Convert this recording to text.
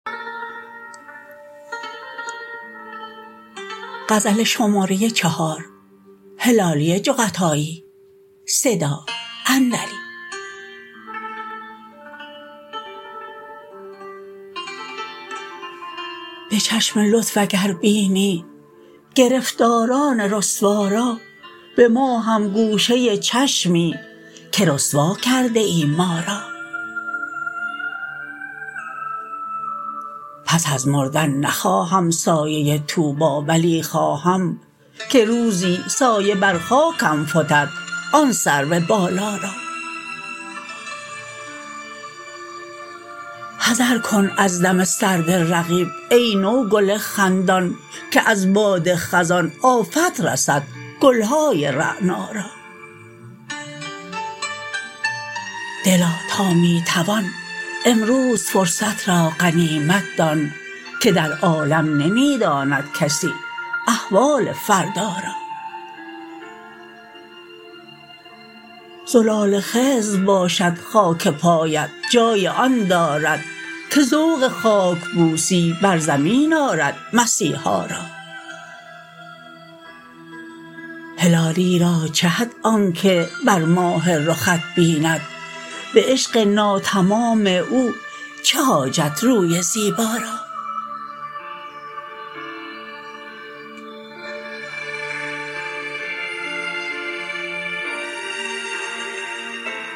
به چشم لطف اگر بینی گرفتاران رسوا را به ما هم گوشه چشمی که رسوا کرده ای ما را پس از مردن نخواهم سایه طوبی ولی خواهم که روزی سایه بر خاکم فتد آن سرو بالا را حذر کن از دم سرد رقیب ای نوگل خندان که از باد خزان آفت رسد گل های رعنا را دلا تا می توان امروز فرصت را غنیمت دان که در عالم نمی داند کسی احوال فردا را زلال خضر باشد خاک پایت جای آن دارد که ذوق خاکبوسی بر زمین آرد مسیحا را هلالی را چه حد آنکه بر ماه رخت بیند به عشق ناتمام او چه حاجت روی زیبا را